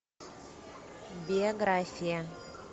биография